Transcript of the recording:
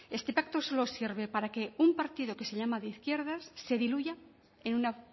este pacto solo sirve para que un partido que se llama de izquierdas se diluya en una